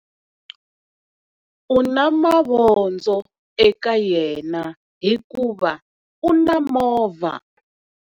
U na mavondzo eka yena hikuva u na movha.